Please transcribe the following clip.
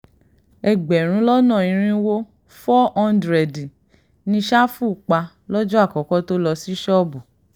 ẹgbẹ̀rún lọ́nà irínwó foo hándírẹ́ẹ̀dì ni sáfù pa lọ́jọ́ àkọ́kọ́ tó lọ sí ṣọ́ọ̀bù